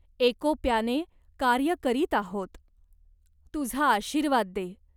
एकोप्याने कार्य करीत आहोत. तुझा आशीर्वाद दे.